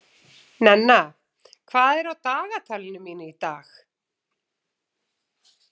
Nenna, hvað er á dagatalinu mínu í dag?